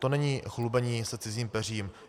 To není chlubení se cizím peřím.